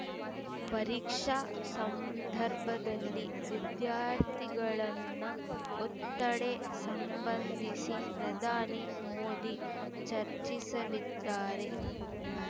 ಪರೀಕ್ಷಾ ಸಂದರ್ಭದಲ್ಲಿ ವಿದ್ಯಾರ್ಥಿಗಳನ್ನ ಒತ್ತಡೆ ಸಂಬಂಧಿಸಿ ಪ್ರಧಾನಿ ಮೋದಿ ಚರ್ಚಿಸಲಿದ್ದಾರೆ